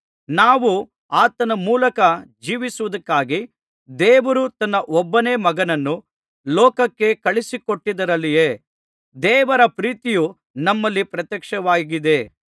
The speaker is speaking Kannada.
ನಾವು ಆತನ ಮೂಲಕ ಜೀವಿಸುವುದಕ್ಕಾಗಿ ದೇವರು ತನ್ನ ಒಬ್ಬನೇ ಮಗನನ್ನು ಲೋಕಕ್ಕೆ ಕಳುಹಿಸಿಕೊಟ್ಟದ್ದರಲ್ಲಿಯೇ ದೇವರ ಪ್ರೀತಿಯು ನಮ್ಮಲ್ಲಿ ಪ್ರತ್ಯಕ್ಷವಾಗಿದೆ